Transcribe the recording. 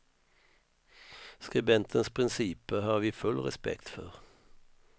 Skribentens principer har vi full respekt för.